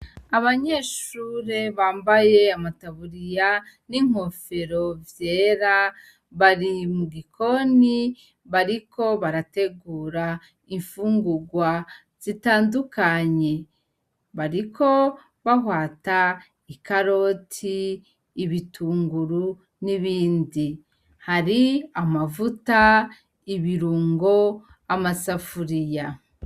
Abanyeshure bambaye amataburiya n'inkofero vyera bari mu gikoni bariko barategura imfungurwa zitandukanye. Bariko bahwata ikaroti, ibitunguru, n'ibindi. Hari amavuta, ibirungo, amasafuriya.